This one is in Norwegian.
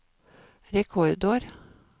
rekordår